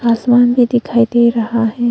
आसमान भी दिखाई दे रहा है।